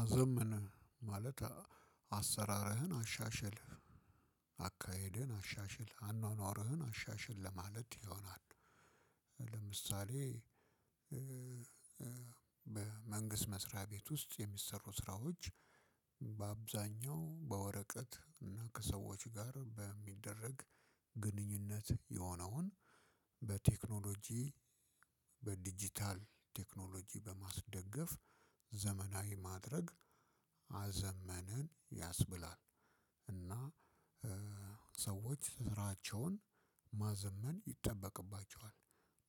አዘምን ማለት አሰራርህን አሻሸል አካሄድህን አሻሽል አኗኗርህን አሻሽል ለማለት ይሆናል። ለምሳሌ በመንግስት መስሪያ ቤት ውስጥ የሚሰሩ ስራዎች። በአብዛኛው በወረቀት እና ከሰዎች ጋር በሚደረግ ግንኙነት የሆነውን በቴክኖሎጂ በዲጂታል ቴክኖሎጂ በማስደገፍ ዘመናዊ ማድረግ አዘመንን ያስብላል እና ሰዎች ስራቸውን ማዘመን ይጠበቅባቸዋል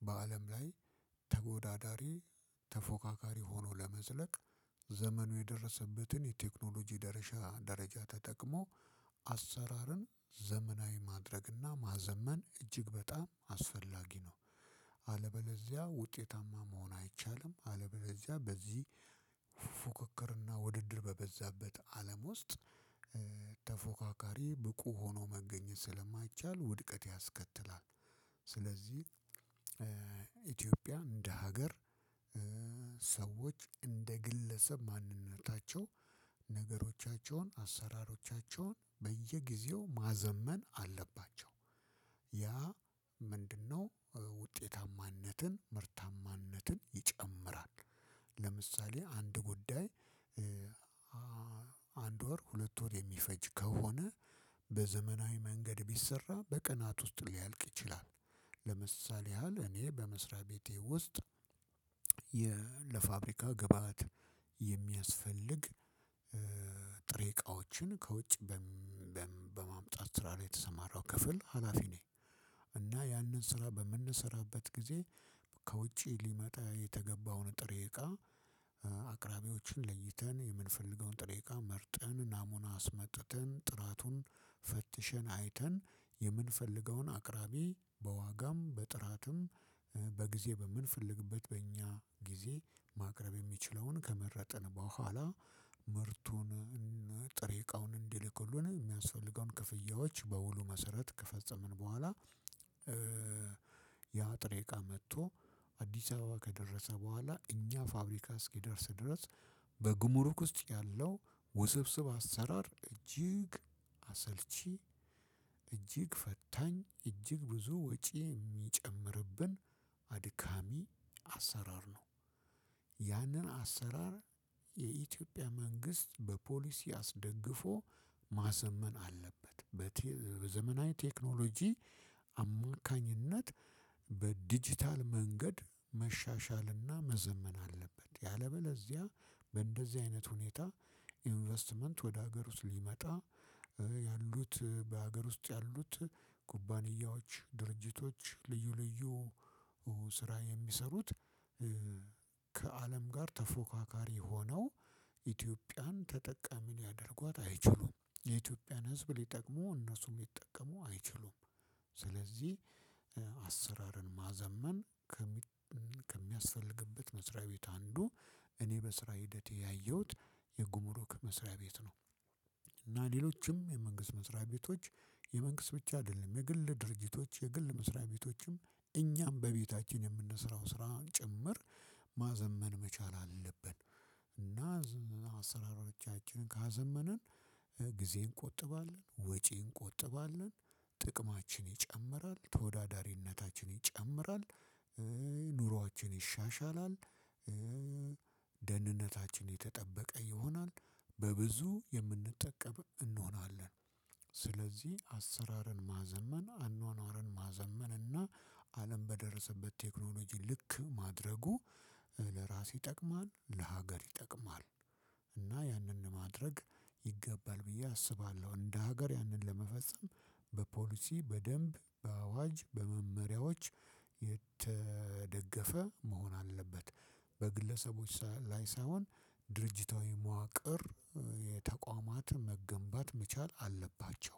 በአለም ላይ ተወዳዳሪ ተፎካካሪ ሆኖ ለመዝለቅ ዘመኑ የደረሰበትን የቴክኖሎጂ ደረጃ ተጠቅሞ አሰራርን ዘመናዊ ማድረግና ማዘመን እጅግ በጣም አስፈላጊ ነው። አለበለዚያ ውጤታማ መሆን አይቻልም። አለበለዚያ በዚህ ፉክክር እና ውድድር በበዛበት አለም ውስጥ ተፎክካሪ ብቁ ሆኖ መገኘት ስለማይቻል ውድቀት ያስከትላል። ስለዚህ ኢትዮጵያ እንደ ሀገር ሰዎች እንደ ግለሰብ ማንነታቸው ነገሮቻቸውን አሰራሮቻቸውን በየጊዜው ማዘመን አለባቸው። ያ ምንድን ነው? ውጤታማነትን ምርታማነትን ይጨምራል። ለምሳሌ አንድ ጉዳይ። አንድ ወር ሁለት ወር የሚፈጅ ከሆነ በዘመናዊ መንገድ ቢሰራ በቀናት ውስጥ ሊያልቅ ይችላል። ለምሲአሌ ያህል እኔ በመስሪያ ቤቴ ውስጥ የ ለፋብሪካ ግብአት የሚያስፈልግ ጥሬ እቃዎችን ከውጪ በማምጣት ስራ ላይ የተሰማራው ክፍል ሀላፊ ነኝ። እና ያንን ስራ በምንሰራበት ጊዜ ከውጪ ሊመጣ የተገባውን ጥሬ እቃ አቅራቢዎችን ለይተን የምንፈልገውን ጥሬ እቃ መርጠን ናሙና አስመጥተን ጥራቱን ፈትሸን አይተን የምንፈልገውን አቅራቢ በዋጋም በጥራትም በጊዜ በምንፈልግበት በእኛ ጊዜ ማቅረብ የሚችለውን ከመረጠን በኋላ ምርቱን ጥሬ እቃውን እንዲልክልን የሚያስፈልገውን ክፍያዎች በውሉ መሰረት ከፈጸምን በኋላ ያ ጥሬቃ መጥቶ አዲስ አበባ ከደረሰ በኋላ እኛ ፋብሪካ እስኪደርስ ድረስ በጉምሩክ ውስጥ ያለው ውስብስብ አሰራር እጅግ አሰልቺ እጅግ ፈታኝ እጅግ ብዙ ወጪ የሚጨምርብን አድካሚ አሰራር ነው። ያንን አሰራር የኢትዮጵያ መንግስት በፖሊሲ አስደግፎ ማዘመን አለበት። በዘመናዊ ቴክኖሎጂ አማካኝነት በዲጂታል መንገድ መሻሻልና መዘመን አለበት። ያለ በለዚያ በእንደዚህ አይነት ሁኔታ ኢንቨስትመንት ወደ ሀገር ውስጥ ሊመጣ ያሉት በሃገር ውስጥ ያሉት ኩባያዎች ድርጅቶች ልዩ ልዩ ስራ የሚሰሩት ከአለም ጋር ተፎካካሪ ሆነው ኢትዮጵያን ተጠቃሚ ሊያደርጓት አይችሉም የኢትዮጵያን ህዝብ ሊጠቅሙ እነሱም ሊጠቀሙ አይችሉም። ስለዚህ አሰራርን ማዘመን ከሚያስፈልግበት መስሪያ ቤት አንዱ እኔ በስራ ሂደቴ ያየሁት የጉምሩክ መስሪያ ቤት ነው። እና ሌሎችም የመንግስት መስሪያ ቤቶች የመንግስት ብቻ አይደለም የግል ድርጅቶች የግል መስሪያ ቤቶችም እኛም በቤታችን የምንሰራው ስራን ጭምር ማዘመን መቻል አለብን። እና አሰራሮቻችንን ካዘመንን ጊዜ እንቆጥባለን ወጪ እንቆጥባለን ጥቅማችን ይጨምራል ተወዳዳሪነታችን ይጨምራል። ኑሯችን ይሻሻላል። ደህንነታችን የተጠበቀ ይሆናል በብዙ የምንጠቀም እንሆናለን። ስለዚህ አሰራርን ማዘመን አኗኗርን ማዘመን እና አለም በደረሰበት ቴክኖሎጂ ልክ ማድረጉ ለራስ ይጠቅማል ለሀገር ይጠቅማል። እና ያንን ማድረግ ይገባል ብዬ አስባለሁ እንደ ሀገር ያንን ለመፈጸም በፖሊሲ በደንብ በአዋጅ በመመሪያዎች የተደገፈ መሆን አለበት። በግለሰቦች ላይ ሳይሆን ድርጅታዊ መዋቅር የተቋማት መገንባት መቻል አለባቸው።